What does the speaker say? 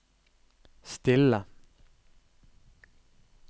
stille